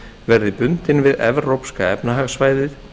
verði bundin við evrópska efnahagssvæðið